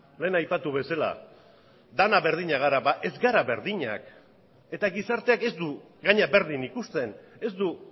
lehen aipatu bezala denak berdinak gara ba ez gara berdinak eta gizarteak ez du gainera berdin ikusten ez du